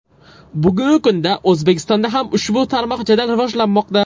Bugungi kunda O‘zbekistonda ham ushbu tarmoq jadal rivojlanmoqda.